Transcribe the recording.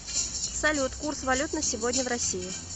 салют курс валют на сегодня в россии